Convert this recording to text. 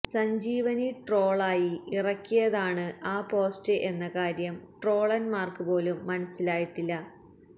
Sanjeevani troll ആയി ഇറക്കിയതാണ് ആ പോസ്റ്റ് എന്ന കാര്യം ട്രോളന്മാര്ക്ക് പോലും മനസ്സിലായിട്ടില്ല